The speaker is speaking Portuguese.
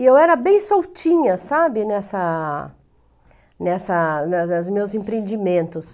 E eu era bem soltinha, sabe, nessa... Nessa... Nos meus empreendimentos.